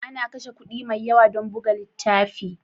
Ana kashe kuɗi mai yawa don buga littafi?